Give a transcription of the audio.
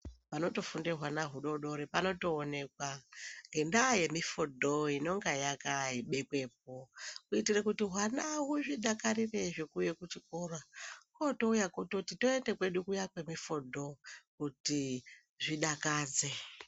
Panotofunde hwana hudodori panotoonekwa ngendaya yemifodho inenge yakabekwepo kuitire kuti hwana huzvidakarire zvekuuye kuchikora otouye kuchikora ototi toende kwedu kuya kuya kwemifodho kuti zvidakadze.